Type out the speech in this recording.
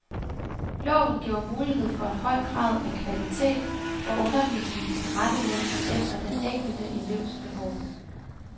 Loven giver mulighed for en høj grad af kvalitet, hvor undervisningen tilrettelægges efter den enkelte elevs behov.